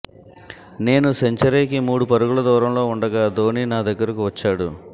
నేను సెంచరీకి మూడు పరుగుల దూరంలో ఉండగా ధోని నా దగ్గరకు వచ్చాడు